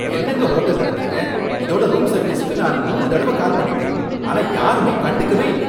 என்னங்க ஹோட்டல் நடத்துறீங்க? இதோட ரூம் சர்வீஸுக்கு நான் மூணு தடவ கால் பண்ணிட்டேன், ஆனா யாருமே கண்டுக்கவே இல்ல